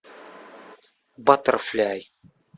баттерфляй